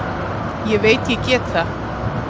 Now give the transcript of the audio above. Ég veit ég get það.